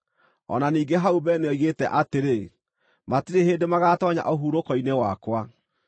O na ningĩ hau mbere nĩoigĩte atĩrĩ, “Matirĩ hĩndĩ magaatoonya ũhurũko-inĩ wakwa.”